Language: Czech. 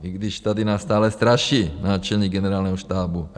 I když tady nás stále straší náčelník Generálního štábu.